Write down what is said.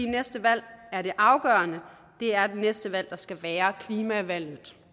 næste valg er det afgørende det er det næste valg skal være klimavalget